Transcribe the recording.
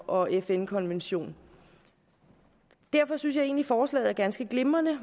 og fn konvention derfor synes jeg egentlig at forslaget er ganske glimrende